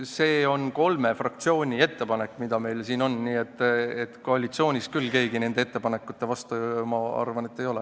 See on kolme fraktsiooni ettepanek, mis meil siin on, nii et koalitsioonis küll keegi nende ettepanekute vastu, ma arvan, ei ole.